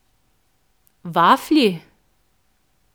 Vaflji?